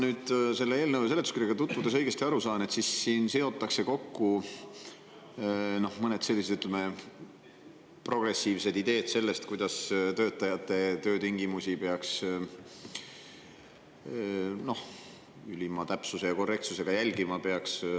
Kui ma selle eelnõu seletuskirjaga tutvudes õigesti aru sain, siis siin seotakse kokku mõned sellised progressiivsed ideed sellest, kuidas töötajate töötingimusi peaks ülima täpsuse ja korrektsusega jälgima.